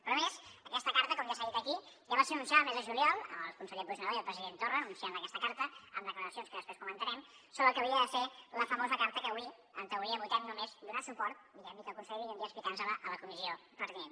però a més aquesta carta com ja s’ha dit aquí ja va ser anunciada el mes de juliol amb el conseller puigneró i el president torra anunciant aquesta carta amb declaracions que després comentarem sobre el que hauria de ser la famosa carta que avui en teoria votem només donar suport diguem i que el conseller vingui un dia a explicar nos la a la comissió pertinent